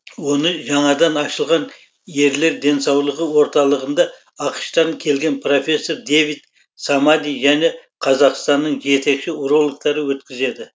оны жаңадан ашылған ерлер денсаулығы орталығында ақш тан келген профессор дэвид самади және қазақстанның жетекші урологтары өткізеді